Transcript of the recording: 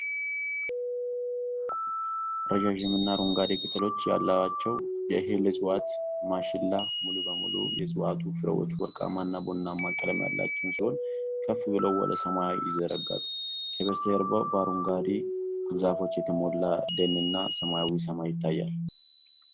ረጃጅም እና አረንጓዴ ቅጠሎች ያሏቸው የእህል እጽዋት (ማሽላ) ሙሉ በሙሉ የእጽዋቱ ፍሬዎች ወርቃማ እና ቡናማ ቀለም ያላቸው ሲሆን ከፍ ብለው ወደ ሰማይ ይዘረጋሉ። ከበስተጀርባ በአረንጓዴ ዛፎች የተሞላ ደንና ሰማያዊ ሰማይ ይታያል።